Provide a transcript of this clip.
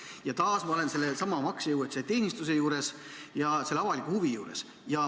Olen taas sellesama maksejõuetuse teenistuse ja avaliku huvi juures.